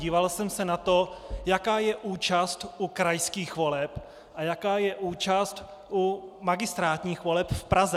Díval jsem se na to, jaká je účast u krajských voleb a jaká je účast u magistrátních voleb v Praze.